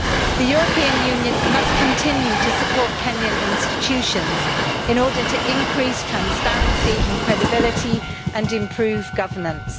The European Union must continue to support Kenyan institutions in order to increase transparency and credibility, and improve governance.